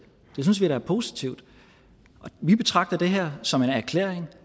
synes vi da er positivt vi betragter det her som en erklæring